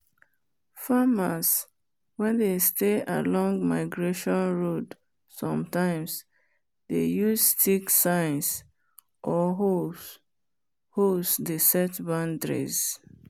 farmers wen dey stay along migration road sometimes dey use sticks signs or holes holes dey set boundaries.